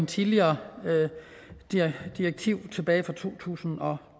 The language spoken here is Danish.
tidligere direktiv tilbage fra to tusind og